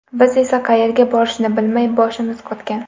Biz esa qayerga borishni bilmay, boshimiz qotgan.